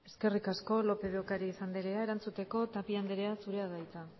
eskerrik asko lópez de ocariz andrea erantzuteko tapia andrea zurea da hitza